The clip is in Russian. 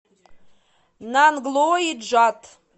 нанглои джат